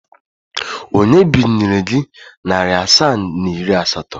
Onye binyere gị narị asaa na iri asatọ?